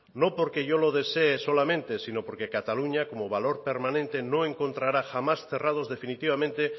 no porque yo lo desee solamente sino porque cataluña como valor permanente no encontrará jamás cerrados definitivamente